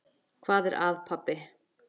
Hvað er að, pabbi?